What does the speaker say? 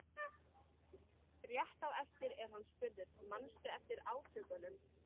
Rétt á eftir er hann spurður: Manstu eftir átökunum?